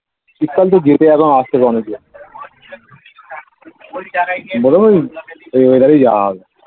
শীতকাল তো যেতে এখন আজ থেকে অনেক দেরি . এই weather এ যাওয়া হবে